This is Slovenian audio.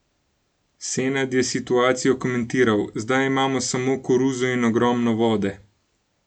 Senad je situacijo komentiral: 'Zdaj imamo samo koruzo in ogromno vode.